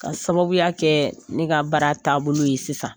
K'a sababuya kɛ ne ka baara taabolo ye sisan